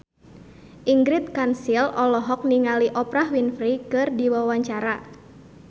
Ingrid Kansil olohok ningali Oprah Winfrey keur diwawancara